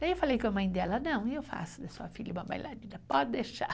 Daí eu falei com a mãe dela, não, eu faço da sua filha uma bailarina, pode deixar.